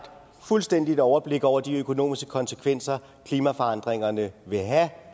fuldstændigt overblik over de økonomiske konsekvenser klimaforandringerne vil have